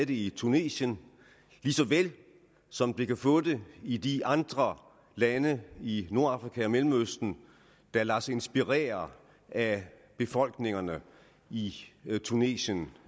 det i tunesien og lige så vel som det kan få det i de andre lande i nordafrika og mellemøsten der lader sig inspirere af befolkningerne i tunesien